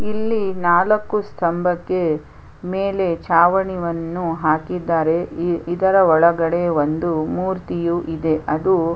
ಇಲ್ಲಿ ನಾಲಕ್ಕು ಸ್ಥಂಭಕ್ಕೆ ಮೇಲೆ ಚಾವಣಿಯನ್ನು ಹಾಕಿದ್ದಾರೆ ಈ ಇದರ ಒಳಗಡೆ ಒಂದು ಮೂರ್ತಿಯು ಇದೆ ಅದು--